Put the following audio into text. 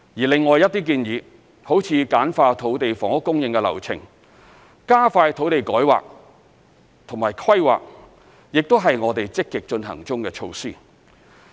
另外一些建議，如簡化土地房屋供應的流程、加快土地改劃及規劃，亦是我們積極進行中的措施。